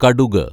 കടുക്